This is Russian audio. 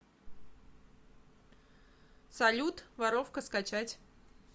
салют воровка скачать